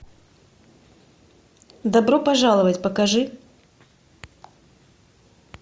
добро пожаловать покажи